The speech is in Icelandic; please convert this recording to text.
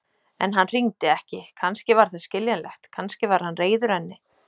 En hann hringdi ekki, kannski var það skiljanlegt, kannski var hann reiður henni.